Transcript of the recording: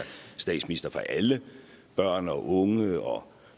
statsminister for alle børn og unge og